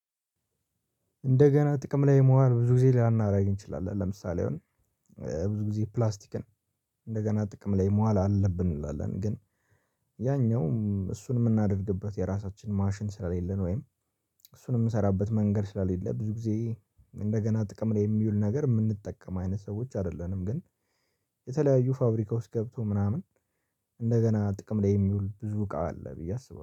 እንደገና ጥቅም ላይ መዋል ብዙ ጊዜ ላናደርግ እንችላለን ለምሳሌ። አሁን ብዙ ጊዜ ፕላስቲክን እንደገና ጥቅም ላይ ማዋል አለብን እንላለን። ግን ያኛውም እሱን የምናደርግበት የራሳችን ማሽን ስለሌለ ነው። ወይም እሱን የምሰራበት መንገድ ስለሌለ ብዙ ጊዜ እንደገና ጥቅም ላይ የሚውል ነገር የምንጠቀም አይነት ሰዎች አይደለንም። ግን የተለያዩ ፋብሪካ ውስጥ ገብቶ ምናምን እንደገና ጥቅም ላይ የሚውል ብዙ እቃ አለ ብዬ አስባለሁ